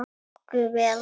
Nokkuð vel.